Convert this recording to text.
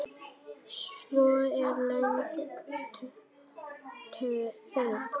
Svo er löng þögn.